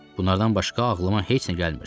Bunlardan başqa ağlıma heç nə gəlmirdi.